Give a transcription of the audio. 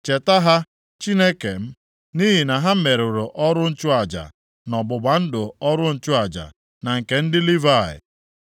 Cheta ha, Chineke m, nʼihi na ha merụrụ ọrụ nchụaja, na ọgbụgba ndụ ọrụ nchụaja, na nke ndị Livayị.